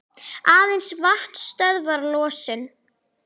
Aðeins vatn stöðvar losun.